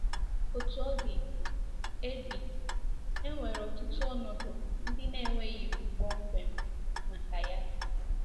Otú ọ dị, e dị, e nwere ọtụtụ ọnọdụ ndị na-enweghị iwu kpọmkwem maka ya.